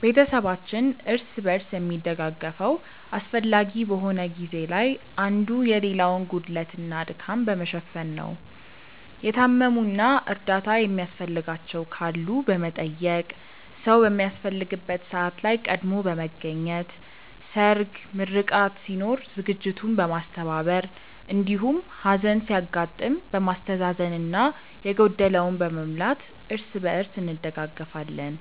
ቤተሰባችን እርስ በርስ የሚደጋገፈው አስፈላጊ በሆነ ጊዜ ላይ አንዱ የሌላውን ጉድለት እና ድካም በመሸፈን ነው። የታመሙ እና እርዳታ የሚያስፈልጋቸው ካሉ በመጠየቅ፣ ሰዉ በሚያስፈልግበት ሰዓት ላይ ቀድሞ በመገኘት ሰርግ፣ ምርቃት ሲኖር ዝግጅቱን በማስተባበር እንዲሁም ሀዘን ሲያጋጥም በማስተዛዘን እና የጎደለውን በመሙላት እርስ በእርስ እንደጋገፋለን።